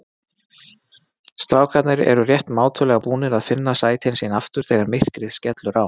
Strákarnir eru rétt mátulega búnir að finna sætin sín aftur þegar myrkrið skellur á.